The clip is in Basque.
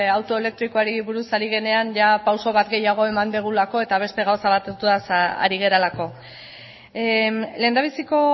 auto elektrikoari buruz ari garenean pausu bat gehiago eman dugulako eta beste gauza batzuetaz ari garelako lehendabiziko